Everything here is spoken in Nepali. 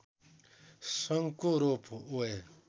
शाङ्को रोप वे